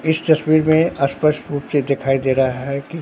इस तस्वीर में स्पष्ट रूप से दिखाई दे रहा है कि--